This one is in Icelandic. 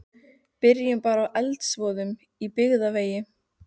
Byrjum bara á eldsvoðanum á Byggðavegi.